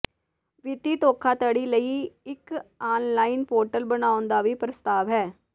ਵਿੱਤੀ ਧੋਖਾਧੜੀ ਲਈ ਇੱਕ ਆਨਲਾਈਨ ਪੋਰਟਲ ਬਣਾਉਣ ਦਾ ਵੀ ਪ੍ਰਸਤਾਵ ਹੈ